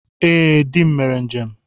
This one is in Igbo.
Ee, dị m mere njem.